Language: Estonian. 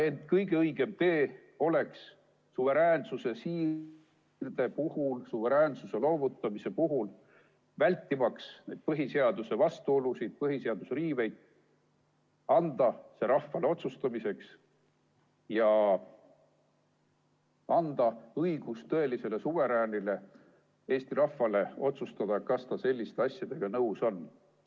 Ent kõige õigem tee oleks suveräänsuse siirde puhul, suveräänsuse loovutamise puhul, vältimaks neid põhiseaduse vastuolusid, põhiseaduse riiveid, anda see rahvale otsustada – anda õigus tõelisele suveräänile, Eesti rahvale, otsustada, kas ta selliste asjadega nõus on.